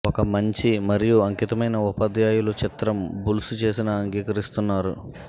ఒక మంచి మరియు అంకితమైన ఉపాధ్యాయులు చిత్రం బుల్స్ చేసిన అంగీకరిస్తున్నారు